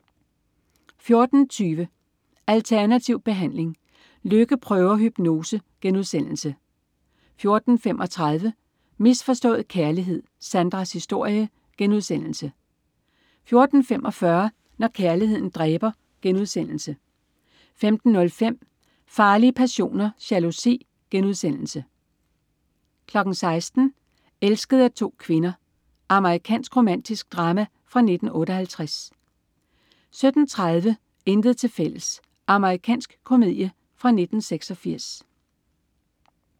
14.20 Alternativ behandling. Lykke prøver hypnose* 14.35 Misforstået kærlighed. Sandras historie* 14.45 Når kærligheden dræber* 15.05 Farlige passioner: Jalousi* 16.00 Elsket af to kvinder. Amerikansk romantisk drama fra 1958 17.30 Intet tilfælles. Amerikansk komedie fra 1986